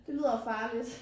Det lyder farligt